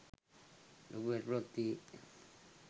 ලොකු ගැටලූවක් තියෙයි